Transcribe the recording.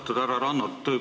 Austatud härra Rannut!